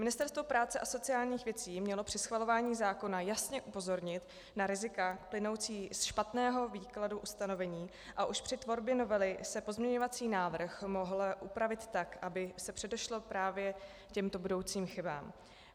Ministerstvo práce a sociálních věcí mělo při schvalování zákona jasně upozornit na rizika plynoucí ze špatného výkladu ustanovení a už při tvorbě novely se pozměňovací návrh mohl upravit tak, aby se předešlo právě těmto budoucím chybám.